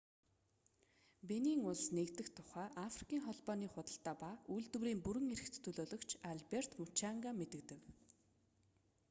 бенин улс нэгдэх тухай африкийн холбооны худалдаа ба үйлдвэрийн бүрэн эрх төлөөлөгч алберт мучанга мэдэгдэв